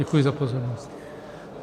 Děkuji za pozornost.